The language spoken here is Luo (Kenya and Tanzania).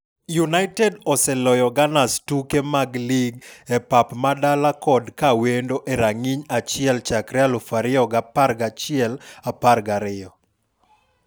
United oseloyo Gunners tuke mag lig e pap madala kod kawendo e rang'iny achiel chakre 2011-12.